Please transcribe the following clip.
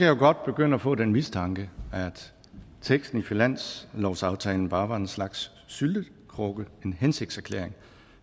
jo godt begynde at få den mistanke at teksten i finanslovsaftalen bare var en slags syltekrukke en hensigtserklæring